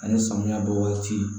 Ani samiya bɔ waati